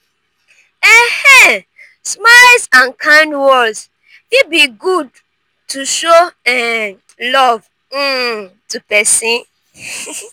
um smiles and kind words fit be good to show um love um to pesin.